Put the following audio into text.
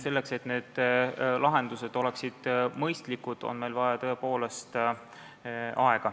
Selleks, et lahendused oleksid mõistlikud, on meil tõepoolest vaja aega.